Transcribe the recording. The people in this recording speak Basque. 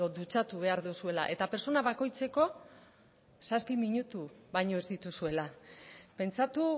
dutxatu behar duzuela eta pertsona bakoitzeko zazpi minutu baino ez dituzuela pentsatu